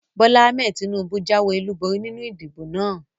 Bólá Ahmed Tinúbú jáwé ọlúborí nínu ìdìbò náà